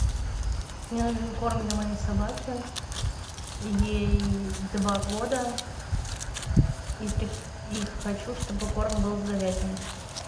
мне нужен корм для моей собаки ей два года и хочу чтобы корм был с говядиной